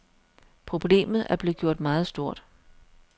Problemet er blevet meget stort.